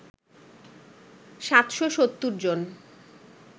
৭৭০ জন